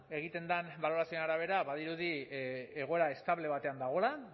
egiten den balorazioaren arabera badirudi egoera estable batean dagoela